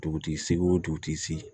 Dugutigi sigi o dugutigi sigi